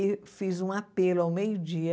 e fiz um apelo ao meio dia